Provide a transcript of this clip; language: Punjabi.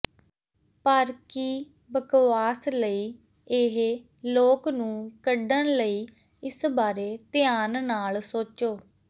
ਪਰ ਕੀ ਬਕਵਾਸ ਲਈ ਇਹ ਲੋਕ ਨੂੰ ਕੱਢਣ ਲਈ ਇਸ ਬਾਰੇ ਧਿਆਨ ਨਾਲ ਸੋਚੋ